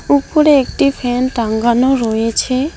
উপরে একটি ফ্যান টাঙ্গানো রয়েছে।